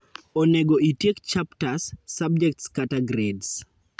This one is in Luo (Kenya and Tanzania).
Onego itiek chapters, subjects kata grades